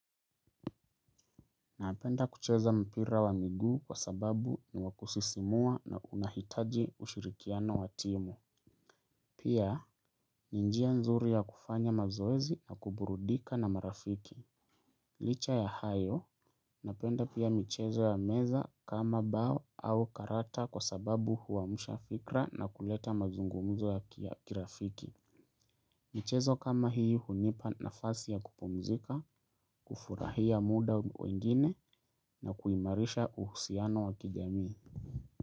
Napenda kucheza mpira wa miguu kwa sababu ni wakusisimua na unahitaji ushirikiano wa timu. Pia, ninjia nzuri ya kufanya mazoezi na kuburudika na marafiki. Licha ya hayo, napenda pia michezo ya meza kama bao au karata kwa sababu huamusha fikra na kuleta mazungumuzo ya kirafiki. Michezo kama hii hunipa na fasi ya kupumzika, kufurahia muda wengine na kuimarisha uhusiano wakijamii.